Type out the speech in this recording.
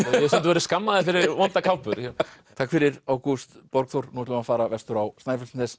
hef stundum verið skammaður fyrir vondar kápur takk fyrir Ágúst Borgþór nú ætlum við að fara vestur á Snæfellsnes